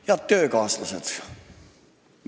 Head töökaaslased!